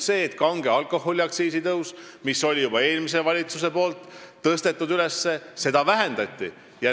Kange alkoholi aktsiisitõusu, mille juba eelmine valitsus oli üles tõstnud, vähendati.